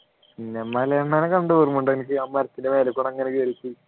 പിന്നെ മലയണ്ണാനെ കണ്ടത് ഓർമ്മയുണ്ടോ അനക്ക് ആ മരത്തിൻ്റെ മേലെ കൂടി അങ്ങനെ കയറിയിട്ട്